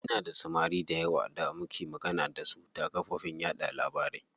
Ina da samari dayawa da muke magana dasu ta kafofin yaɗa labarai.